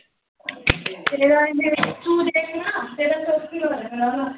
ਤੇਰਾ ਐਨੇ, ਤੂੰ ਦੇਖ ਨਾ, ਤੇਰਾ ਤਾਂ ਈ ਹੋਇਆ ਮੈਨੂੰ ਲਗਦਾ।